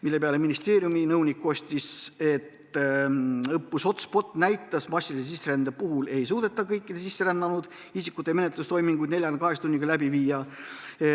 Selle peale ministeeriumi nõunik kostis, et õppus HotSpot näitas, et massilise sisserände korral ei suudeta kõikide sisserännanud isikute menetlustoiminguid 48 tunniga läbi viia.